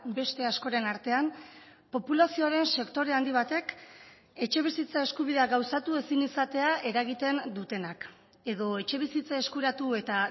beste askoren artean populazioaren sektore handi batek etxebizitza eskubidea gauzatu ezin izatea eragiten dutenak edo etxebizitza eskuratu eta